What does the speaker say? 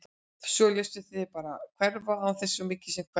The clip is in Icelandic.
Og þá léstu þig bara hverfa án þess svo mikið sem að kveðja!